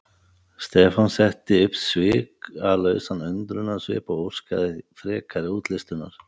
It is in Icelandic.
Stefán setti upp svikalausan undrunarsvip og óskaði frekari útlistunar.